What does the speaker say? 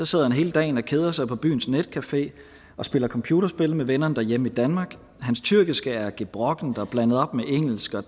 sidder han hele dagen og keder sig på byens netcafé og spiller computerspil med vennerne derhjemme i danmark hans tyrkiske er gebrokkent og blandet op med engelsk og